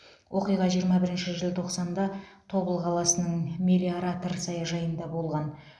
оқиға жиырма бірінші желтоқсанда тобыл қаласының мелиоратор саяжайында болған